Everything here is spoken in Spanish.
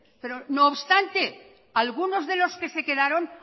pero no obstante algunos de los que se quedaron